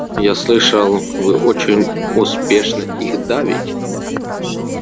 я слышал вы очень успешно их давите